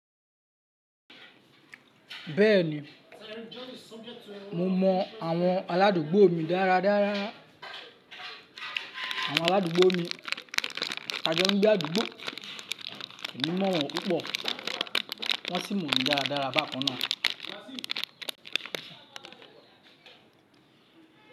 Bẹ́ẹ̀ni, mo mọ àwọn aládùúgbò mi dáradára. Àwọn aládùúgbò mi, tajọ n gbàdùúgbò, emi mọ̀ wọ́n púpọ̀, wọ́n sì mọ̀ mi dáradára bákan náà.